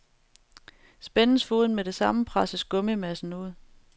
Spændes foden med det samme, presses gummimassen ud.